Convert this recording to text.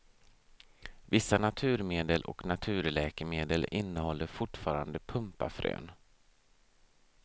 Vissa naturmedel och naturläkemedel innehåller fortfarande pumpafrön.